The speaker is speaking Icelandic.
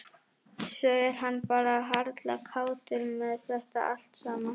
Svo er hann bara harla kátur með þetta allt saman.